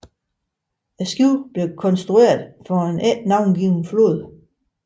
Båden blev konstrueret for en ikke navngiven flåde